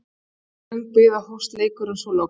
Við tók löng bið og hófst leikurinn svo loks.